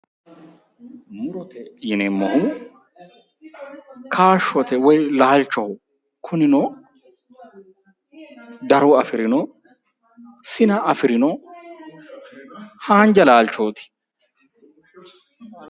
murote yineemmohu kaashshoho woy laalchoho, kunino daro afi'rino sina afi'rino haanja laalchooti.